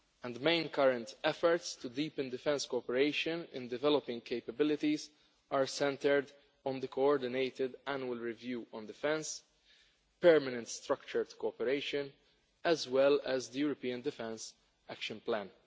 The main current efforts to deepen defence cooperation in developing capabilities are centred on the Coordinated Annual Review on Defence, permanent structured cooperation, as well as the European Defence Action Plan.